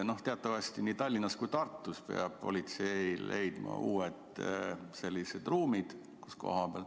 Teatavasti nii Tallinnas kui ka Tartus peab politsei leidma uued ruumid.